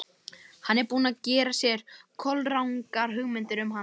Hann er búinn að gera sér kolrangar hugmyndir um hana.